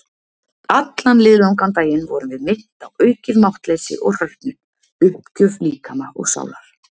Allan liðlangan daginn vorum við minnt á aukið máttleysi og hrörnun- uppgjöf líkama og sálar.